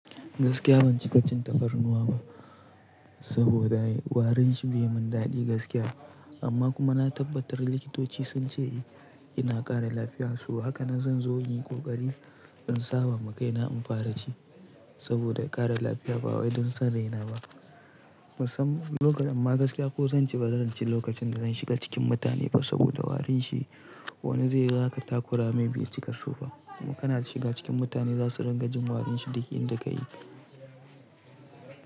Gaskiya ban ci kacin tafarnuwa ba saboda warin shi bai mun daɗi gaskiya amma kuma na tabbatar likitoci sun ce eh yana ƙara lafiyarsu. Hakanan zan zo yin ƙoƙari in saba ma kaina in fara ci saboda ƙara lafiya ba wai don san raina ba musam lokacin amma gaskiya ko zan ci bazan ci lokacin da zan shiga cikin mutane ba saboda warin shi wani zai ga zaka takura mai bai cika so ba kana shiga cikin mutane za su ringajin warin shi duk inda ka yi.